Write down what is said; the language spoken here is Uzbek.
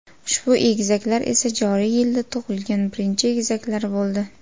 Ushbu egizaklar esa joriy yilda tug‘ilgan birinchi egizaklar bo‘ldi.